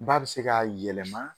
Ba bɛ se k'a yɛlɛma